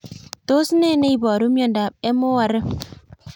Tos ne neiparu miondop MORM